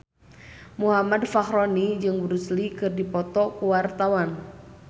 Muhammad Fachroni jeung Bruce Lee keur dipoto ku wartawan